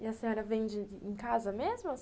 E a senhora vende em casa mesmo?